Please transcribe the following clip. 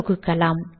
தொகுக்கலாம்